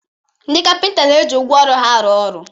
Ndị kapịnta na-eji ngwá ọrụ ha arụ ọrụ.